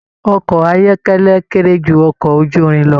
Ọkọ ayọkẹlẹ kéré jù ọkọ ojúrin lọ.